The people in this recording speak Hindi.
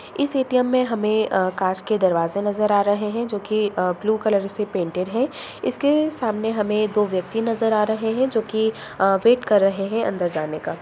इस एटीएम में हमें अ काँच के दरवाजे नजर आ रहे हैं जोकि अ ब्लू कलर से पेन्टेड हैं इसके सामने हमें दो व्यक्ति नजर आ रहे हैं जोकि अ वेट कर रहे हैं अंदर जाने का ।